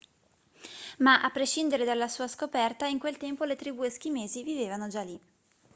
ma a prescindere dalla sua scoperta in quel tempo le tribù eschimesi vivevano già lì